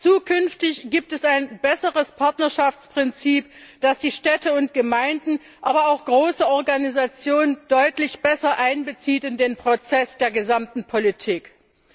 Zukünftig gibt es ein besseres Partnerschaftsprinzip, das die Städte und Gemeinden, aber auch große Organisationen deutlich besser in den Prozess der gesamten Politik einbezieht.